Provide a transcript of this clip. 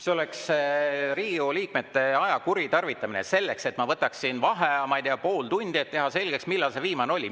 See oleks Riigikogu liikmete aja kuritarvitamine, et ma võtaksin vaheaja, ma ei tea, pool tundi, et teha selgeks, millal see viimane kord oli.